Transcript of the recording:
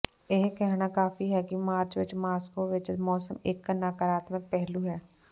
ਇਹ ਕਹਿਣਾ ਕਾਫ਼ੀ ਹੈ ਕਿ ਮਾਰਚ ਵਿਚ ਮਾਸਕੋ ਵਿਚ ਮੌਸਮ ਇਕ ਨਕਾਰਾਤਮਕ ਪਹਿਲੂ ਹੈ